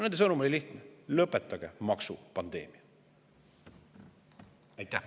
Nende sõnum oli lihtne: lõpetage maksupandeemia!